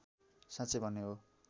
साँचै भन्ने हो